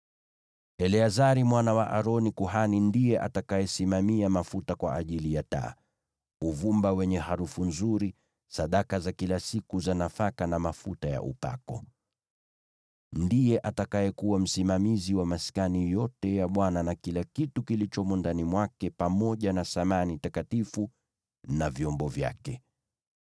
“Eleazari mwana wa Aroni, kuhani, ndiye atakayesimamia mafuta kwa ajili ya taa, uvumba wenye harufu nzuri, sadaka za kila siku za nafaka na mafuta ya upako. Ndiye atakayekuwa msimamizi wa maskani yote ya Bwana na kila kitu kilichomo ndani mwake pamoja na samani takatifu na vyombo vyake.”